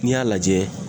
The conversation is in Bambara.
N'i y'a lajɛ